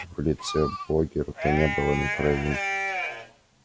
в лице богерта не было ни кровинки